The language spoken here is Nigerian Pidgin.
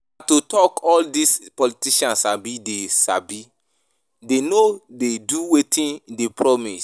Na to talk all dis politicians sabi dey sabi dey no dey do wetin dey promise